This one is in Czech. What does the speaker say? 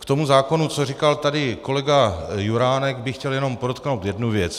K tomu zákonu, co říkal tady kolega Juránek, bych chtěl jenom podotknout jednu věc.